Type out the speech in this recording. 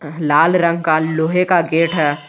लाल रंग का लोहे का गेट है।